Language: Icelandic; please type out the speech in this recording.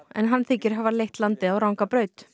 en hann þykir hafa leitt landið á ranga braut